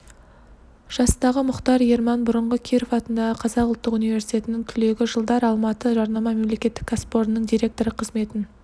жастағы мұхтар ерман бұрынғы киров атындағы қазақ ұлттық университетінің түлегі жылдары алматы жарнама мемлекеттік кәсіпорнының директоры қызметін